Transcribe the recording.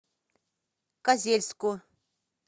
козельску